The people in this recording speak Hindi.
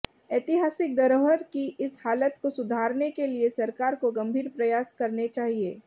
ऐतिहासिक धरोहर की इस हालत को सुधारने के लिए सरकार को गंभीर प्रयास करने चाहिए